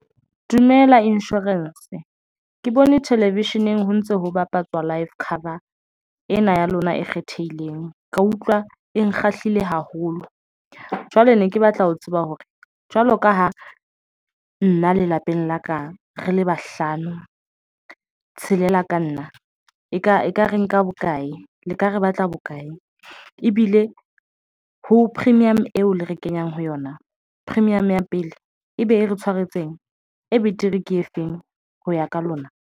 Dumela Insurance, Ke bone Television eng ho ntso ho bapatswa Life cover ena ya lona e kgethehileng, ka utlwa e nkga shahlile haholo. Jwale ne ke batla ho tseba hore jwalo ka ha nna lelapeng la ka re le bahlano, tshelela ka nna eka ekare nka bokae le ka re batla bokae ebile ho premium eo le re kenyang ho yona premium ya pele ebe e re tshwaretseng e betere ke efeng ho ya ka lona.